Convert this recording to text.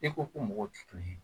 E ko ko mɔgɔw tɛ kelen ye